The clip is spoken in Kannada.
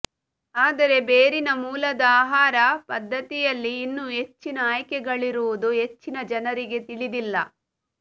ಆದರೆ ಬೇರಿನ ಮೂಲದ ಆಹಾರ ಪದ್ಧತಿಯಲ್ಲಿ ಇನ್ನೂ ಹೆಚ್ಚಿನ ಆಯ್ಕೆಗಳಿರುವುದು ಹೆಚ್ಚಿನ ಜನರಿಗೆ ತಿಳಿದಿಲ್ಲ